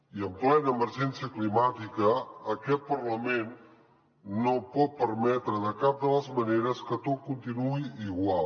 i en plena emergència climàtica aquest parlament no pot permetre de cap de les maneres que tot continuï igual